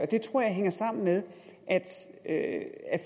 det tror jeg hænger sammen med at